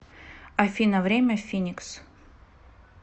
афина время в финикс